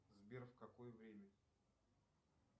сбер в какое время